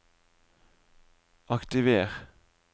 aktiver